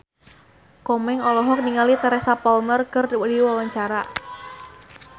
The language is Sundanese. Komeng olohok ningali Teresa Palmer keur diwawancara